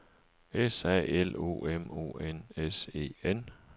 S A L O M O N S E N